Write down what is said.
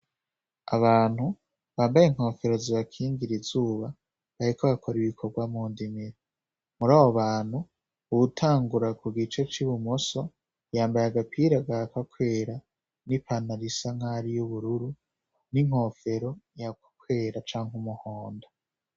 Abantu bambaye inkofero zibakingira izuba, bariko bakora ibikorwa mu ndimiro. Muri abo abantu, uwutangura ku gice c’ibumoso yambaye agapira gahakwa kwera, n'ipantaro isa nk’aho ari y'ubururu, n'inkofero ihakwa kwera canke umuhondo.